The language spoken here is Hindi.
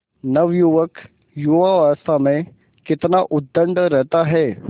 नवयुवक युवावस्था में कितना उद्दंड रहता है